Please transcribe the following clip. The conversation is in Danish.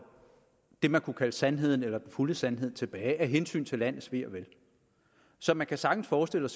det man kunne kalde sandheden eller den fulde sandhed tilbage af hensyn til landets ve og vel så man kunne sagtens forestille